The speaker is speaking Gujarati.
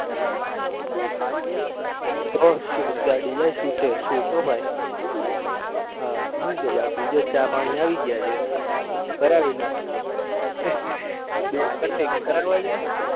mercedes ગાડી જાય છુટે છુટ હો ભાઈ હા હુ કેય બાકી જો ચા પાણી આવી ગયા છે કરાવી નાખ બે cutting કરાવા છે?